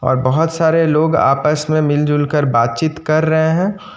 और बहोत सारे लोग आपस में मिलजुल कर बातचीत कर रहे हैं।